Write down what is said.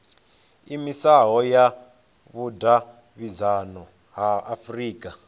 iimisaho ya vhudavhidzano ya afurika